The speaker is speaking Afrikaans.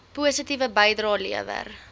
positiewe bydrae lewer